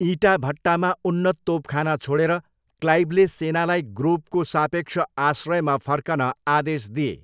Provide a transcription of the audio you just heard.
इँटा भट्टामा उन्नत तोपखाना छोडेर, क्लाइभले सेनालाई ग्रोभको सापेक्ष आश्रयमा फर्कन आदेश दिए।